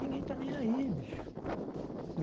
Ninguém tá nem aí, bicho.